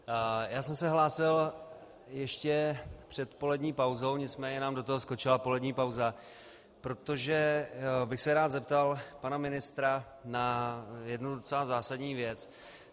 Já jsem se hlásil ještě před polední pauzou, nicméně nám do toho skočila polední pauza, protože bych se rád zeptal pana ministra na jednu docela zásadní věc.